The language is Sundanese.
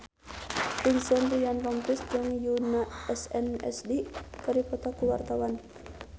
Vincent Ryan Rompies jeung Yoona SNSD keur dipoto ku wartawan